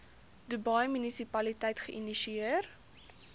dubai munisipaliteit geïnisieer